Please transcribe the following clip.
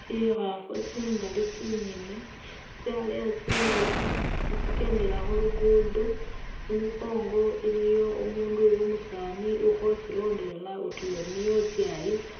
Tsikhaafu tsingali tsingene, tsyaleya tsinzika khatsikendela khu luguudo, i'mukongo iliyo umuundu uli umusaani ukhotsilondelela utuya uri iye utsyayisa,